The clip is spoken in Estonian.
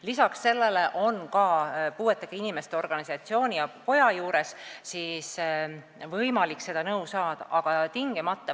Lisaks sellele on puuetega inimeste organisatsiooni ja koja juures võimalik seda nõu saada.